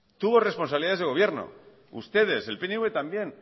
tuvo responsabilidades de gobierno ustedes el pnv también